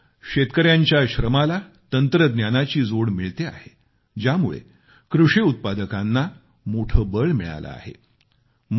आज शेतकऱ्यांच्या श्रमाला तंत्रज्ञानाची जोड मिळते आहे ज्यामुळे कृषी उत्पादकाना मोठं बळ मिळालं आहे